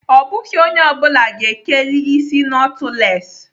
Ọ bụghị onye ọ bụla ga-ekeli isi nọtụles.